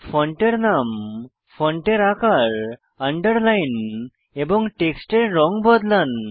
ফন্টের নাম ফন্টের আকার আন্ডারলাইন এবং টেক্সটের রঙ বদলান